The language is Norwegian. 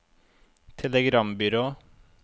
telegrambyrå